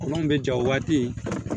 Olu kun bɛ ja o waati